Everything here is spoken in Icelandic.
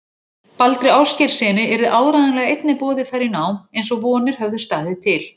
Baldri Ásgeirssyni, yrði áreiðanlega einnig boðið þar í nám, eins og vonir höfðu staðið til.